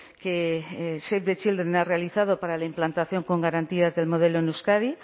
que save the children ha realizado para la implantación con garantías del modelo en euskadi